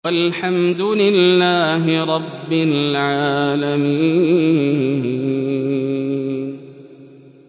وَالْحَمْدُ لِلَّهِ رَبِّ الْعَالَمِينَ